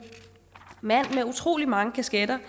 mand med utrolig mange kasketter